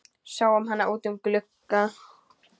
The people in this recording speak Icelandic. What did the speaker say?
Sáum hann út um glugga.